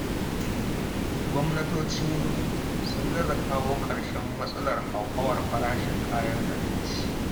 Gwamnatocinmu sun gaza kawo ƙarshen matsalar hauhawar farashin kayan abinci.